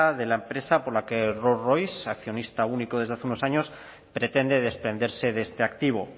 de la empresa por la que rolls royce accionista único desde hace unos años pretende desprenderse de este activo